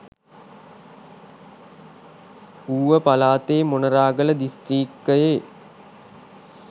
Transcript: ඌව පළාතේ මොණරාගල දිස්ත්‍රික්කයේ